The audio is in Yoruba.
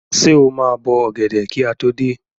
Ṣé o máa bọ ọ̀gẹ̀dẹ̀ kí a tó dé?